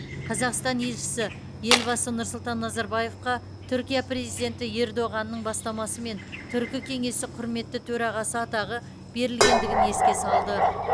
қазақстан елшісі елбасы нұрсұлтан назарбаевқа түркия президенті ердоғанның бастамасымен түркі кеңесі құрметті төрағасы атағы берілгендігін еске салды